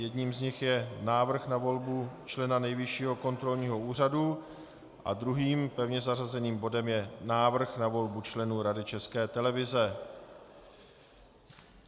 Jedním z nich je návrh na volbu člena Nejvyššího kontrolního úřadu, a druhým pevně zařazeným bodem je návrh na volbu členů Rady České televize.